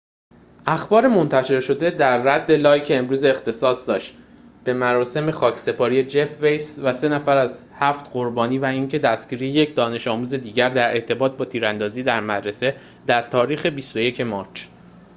اخبار منتشر شده در رد لایک امروز اختصاص داشت به مراسم خاکسپاری جف ویس و سه نفر از هفت قربانی و اینکه دستگیری یک دانش‌آموز دیگر در ارتباط با تیراندازی در مدرسه در تاریخ ۲۱ مارچ